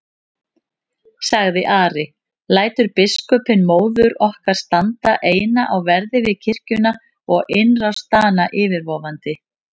sagði Ari,-lætur biskupinn móður okkar standa eina á verði við kirkjuna og innrás Dana yfirvofandi?